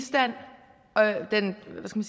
skal